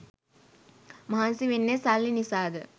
මහන්සි වෙන්නේ සල්ලි නිසාද?